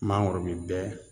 Mangoro bi bɛɛ